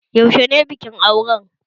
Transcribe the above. Yaushe ne bikin auren?